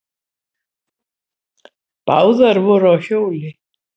Báðar voru á hjóli.